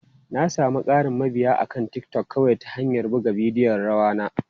Na sami ƙarin mabiya akan TikTok kawai ta hanyar buga bidiyon rawa na.